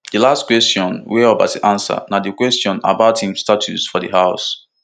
di last kwesion wey obasa answer na di kwesion about im status for di house